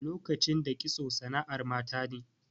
Lokacin da kitso sana'ar mata ne.